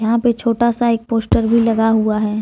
यहां पे छोटा सा एक पोस्टर भी लगा हुआ है।